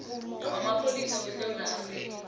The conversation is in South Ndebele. wamapholisa wesewula afrika